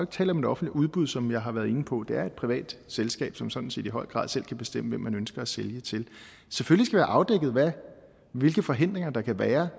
tale om et offentligt udbud som jeg har været inde på det er et privat selskab som sådan set i høj grad selv kan bestemme hvem man ønsker at sælge til selvfølgelig have afdækket hvilke forhindringer der kan være